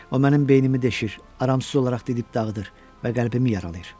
O mənim beynimi deşir, aramsız olaraq didib dağıdır və qəlbimi yaralayır.